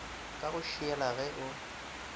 ka go šiela ge o